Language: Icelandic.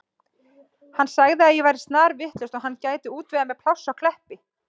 Hann sagði að ég væri snarvitlaus og hann gæti útvegað mér pláss á Kleppi.